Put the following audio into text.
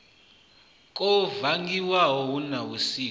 kwo vangiwa hu na vhusiki